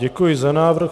Děkuji za návrh.